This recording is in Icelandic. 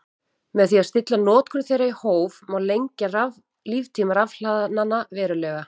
Með því að stilla notkun þeirra í hóf má lengja líftíma rafhlaðanna verulega.